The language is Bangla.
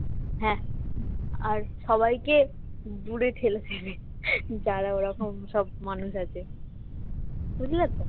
হ্যাঁ আর সবাইকে দূরে ঠেলে দেবে যারা ওরকম সব মানুষ আছে বুঝলে তো?